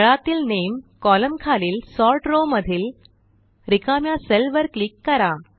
तळातील name column खालील sort row मधील रिकाम्या सेलवर क्लिक करा